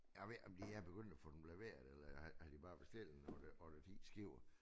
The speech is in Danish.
Jeg ved ikke om de er begyndt at få dem leveret eller har de bare bestilt en 8 8 10 skibe